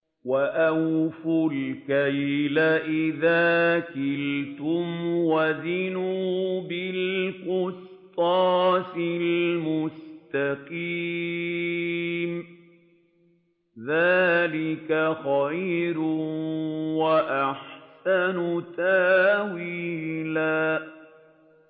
وَأَوْفُوا الْكَيْلَ إِذَا كِلْتُمْ وَزِنُوا بِالْقِسْطَاسِ الْمُسْتَقِيمِ ۚ ذَٰلِكَ خَيْرٌ وَأَحْسَنُ تَأْوِيلًا